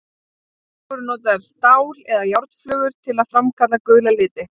Síðar voru notaðar stál- eða járnflögur til að framkalla gula liti.